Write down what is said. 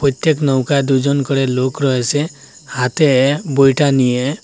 প্রত্যেক নৌকায় দুজন করে লোক রয়েছে হাতে বৈঠা নিয়ে।